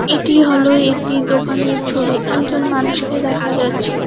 এটি হল একটি দোকানের ছবি একজন মানুষকে দেখা যাচ্ছে।